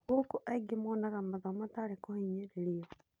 Gũkũ angĩ monaga mathomo tarĩ kũhinyĩrĩrio.